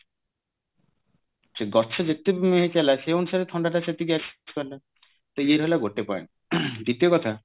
ତା ଗଛ ଯେତେବି ଚାଲିଲା ସେଇ ଅନୁସାରେ ଥଣ୍ଡାଟା ସେତିକି ଆସିପାରିଲା ତା ଇଏ ହେଲା ଗୋଟେ point ଦ୍ଵିତୀୟ କଥା